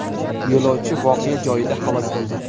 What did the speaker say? Yo‘lovchi voqea joyida halok bo‘ldi.